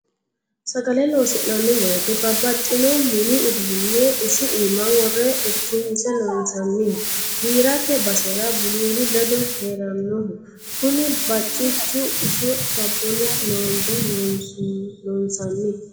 Sagale loosi'nanni woyite babbaxxino mini uduune isi iima wore irkinse loonsaniho giirate basera bululu ledo heeranoho kuni bacichu iso sabbuni loonbe loonsanni.